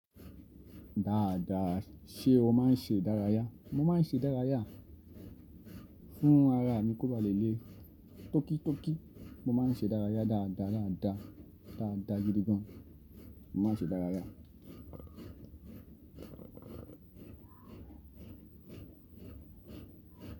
Dáadáa ṣe o máa ń ṣe dárayá? Mo máa ń ṣe dárayá, fún ara mi kó ba lè le tóki tóki. Mo máa ń ṣe dárayá dáadáa dáadáa, dáadáa gidi gan. Mo máa ń ṣe dárayá.